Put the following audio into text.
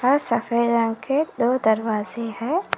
यह सफेद रंग के दो दरवाजे हैं।